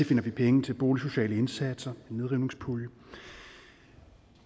finder vi penge til boligsociale indsatser og nedrivningspulje